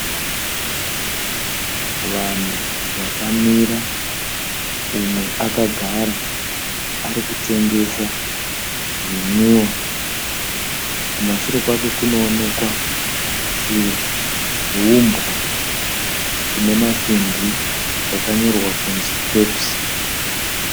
Vanhu vakamira, umwe akagara arikutengesa zvinwiwa. Kumashure kwake kunoonekwa chiumbwa chine masimbi chakanyorwa kunzi Pepsi.